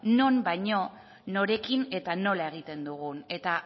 non baino norekin eta nola egiten dugun eta